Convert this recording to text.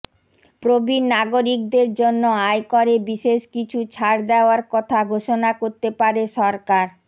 প্রবীণ নাগরিকদের জন্য আয়করে বিশেষ কিছু ছাড় দেওয়ার কথা ঘোষণা করতে পারে সরকার